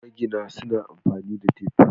Magina suna amfani da tif.